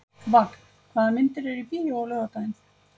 Vagn, hvaða myndir eru í bíó á laugardaginn?